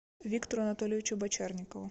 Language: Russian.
виктору анатольевичу бочарникову